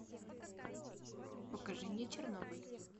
покажи мне чернобыль